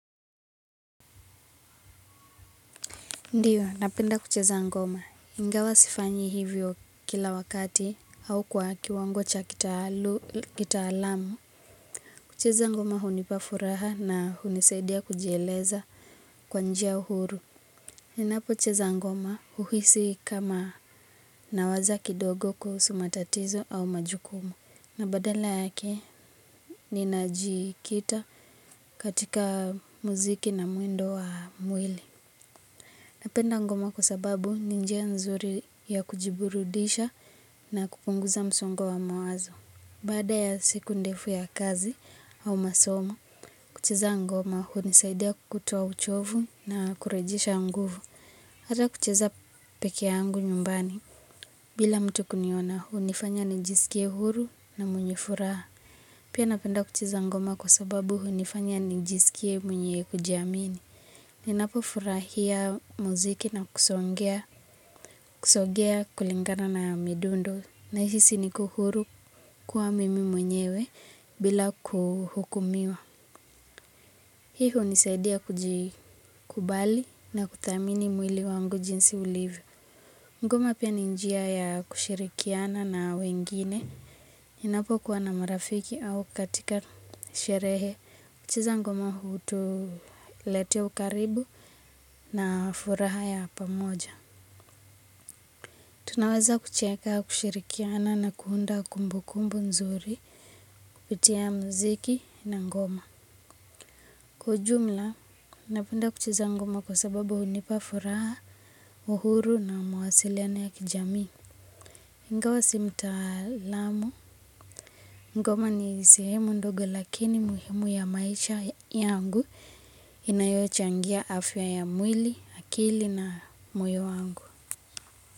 Ndiyo, napenda kucheza ngoma. Ingawa sifanyi hivyo kila wakati au kwa kiwango cha kitaalamu. Kucheza ngoma hunipa furaha na hunisaidia kujieleza kwa njia huru. Ninapocheza ngoma huhisi kama nawaza kidogo kuhusu matatizo au majukumu. Na badala yake, ninajikita katika muziki na mwendo wa mwili. Napenda ngoma kwa sababu ni njia nzuri ya kujiburudisha na kupunguza msongo wa mawazo. Baada ya siku ndefu ya kazi au masomo, kucheza ngoma hunisaidia kutoa uchovu na kurejesha nguvu. Ata kucheza pekee yangu nyumbani. Bila mtu kuniona hunifanya nijisikie huru na mwenye furaha. Pia napenda kucheza ngoma kwa sababu hunifanya nijisikie mwenye kujiamini. Ninapofurahia muziki na kusongea kulingana na midundo nahisi niko huru kuwa mimi mwenyewe bila kuhukumiwa. Hii hunisaidia kujikubali na kuthamini mwili wangu jinsi ulivyo. Ngoma pia ni njia ya kushirikiana na wengine. Ninapokuwa na marafiki au katika sherehe kucheza ngoma hutuletea ukaribu na furaha ya pamoja. Tunaweza kucheka kushirikiana na kuunda kumbukumbu nzuri kupitia mziki na ngoma. Kwa ujumla, napenda kucheza ngoma kwa sababu hunipa furaha uhuru na mawasiliano ya kijamii ingawa si mtaalamu. Ngoma ni sehemu ndogo lakini muhimu ya maisha yangu inayochangia afya ya mwili, akili na moyo wangu.